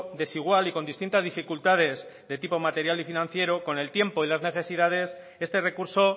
desigual y con distintas dificultades de tipo material y financiero con el tiempo y las necesidades este recurso